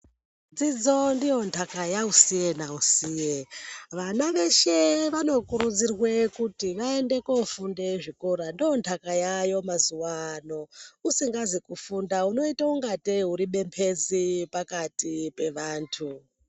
Dzidzo ndondaka yausiye nausiye vana veshe vano kurudzirwe kuti vaende kunofunde kuzvikora ndondaka yavayo mazuva anoaya usingazi kufunda unoita ngateyi uri bepezi pakati pevantu .